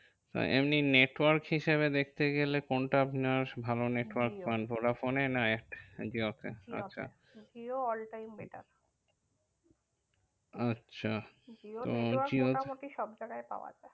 এমনি network হিসেবে দেখতে গেলে কোনটা আপনার ভালো network পান? ভোডাফোনে এতে জিওতে? জিও all time better আচ্ছা জিওর network মোটামুটি সবজায়গায় পাওয়া যায়।